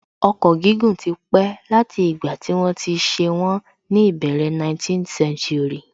Ọkọ̀ gígùn tí pé láti ìgbà tí wọ́n ti ṣe wọ́n ní ìbẹ̀rẹ̀ 19th century